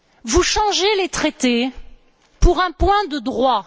Vous changez les traités pour un point de droit.